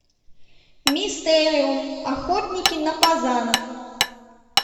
мистериум охотники на фазанов